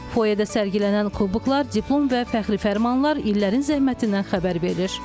Foedə sərgilənən kuboklar, diplom və fəxri fərmanlar illərin zəhmətindən xəbər verir.